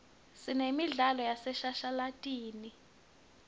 sinemidlalo yaseshashalatini